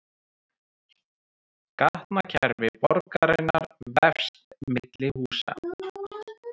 Gatnakerfi borgarinnar vefst milli húsa